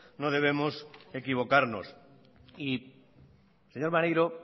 no debemos equivocarnos señor maneiro